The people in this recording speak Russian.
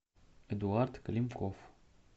эдуард климков